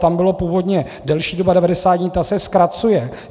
Tam byla původně delší doba 90 dní, ta se zkracuje.